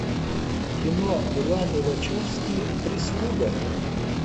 кино ланы вачовски прислуга